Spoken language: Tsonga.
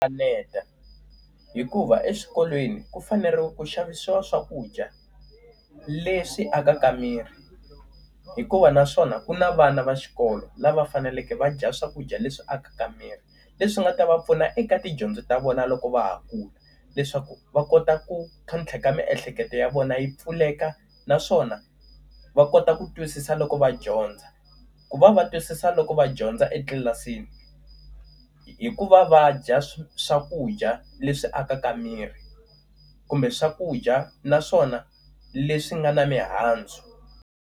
Kaneta, hikuva eswikolweni ku fanele ku xavisiwa swakudya leswi akaka miri. Hikuva naswona ku na vana va xikolo lava faneleke va dya swakudya leswi akaka miri leswi nga ta va pfuna eka tidyondzo ta vona loko va ha kula. Leswaku va kota ku tlhontlheka miehleketo ya vona yi pfuleka, naswona va kota ku twisisa loko va dyondza. Ku va va twisisa loko va dyondza etlilasini hikuva va dya swakudya leswi akaka miri, kumbe swakudya naswona leswi nga na mihandzu.